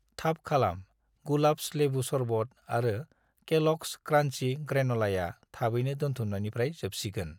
थाब खालाम, गुलाब्स लेबु सरबत आरो केल'ग्स क्रान्चि ग्रेन'लाया थाबैनो दोनथुमनायनिफ्राय जोबसिगोन